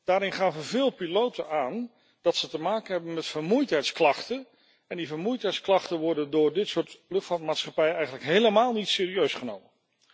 Daarin gaven veel piloten aan dat ze te maken hebben met vermoeidheidsklachten en die vermoeidheidsklachten worden door dit soort luchtvaartmaatschappijen eigenlijk helemaal niet serieus genomen.